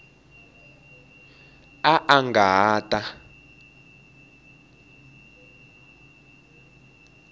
a a nga ha ta